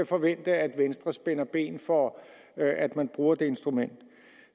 forvente at venstre spænder ben for at man bruger det instrument